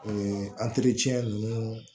ninnu